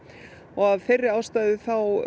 og af þeirri ástæðu